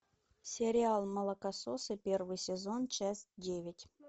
сериал молокососы первый сезон часть девять